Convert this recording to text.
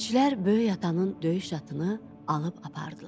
Elçilər Böyük atanın döyüş atını alıb apardılar.